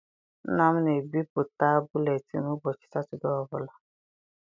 Nna m na ebipụta buletịịnụ ụbọchị satọdee ọbụla.